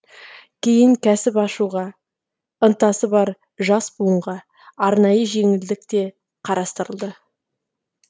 кейін кәсіп ашуға ынтасы бар жас буынға арнайы жеңілдік те қарастырылды